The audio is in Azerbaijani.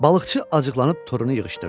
Balıqçı acıqlanıb torunu yığışdırdı.